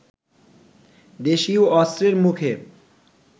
দেশীয় অস্ত্রের মুখে